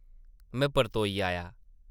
में परतोई आया ।